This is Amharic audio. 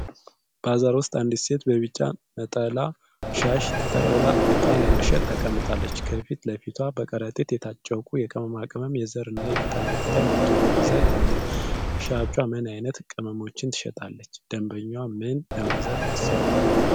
ባዛር ውስጥ አንዲት ሴት በቢጫ ነጠላ ሻሽ ተጠቅልላ፣ እቃ ለመሸጥ ተቀምጣለች። ከፊት ለፊቷ በከረጢት የታጨቁ የቅመማ ቅመም፣ የዘር እና የቅጠላ ቅጠል ምርቶች በብዛት አሉ። ሻጯ ምን ዓይነት ቅመሞችን ትሸጣለች? ደንበኛዋ ምን ለመግዛት አስባ ነው?